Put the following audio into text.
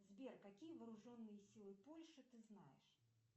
сбер какие вооруженные силы польши ты знаешь